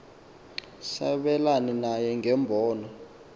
sabelane naye ngeembono